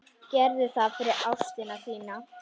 Gerðu það fyrir ástina þína.